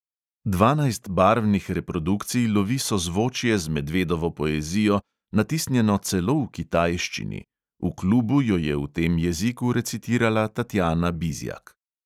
Dvanajst barvnih reprodukcij lovi sozvočje z medvedovo poezijo, natisnjeno celo v kitajščini; v klubu jo je v tem jeziku recitirala tatjana bizjak.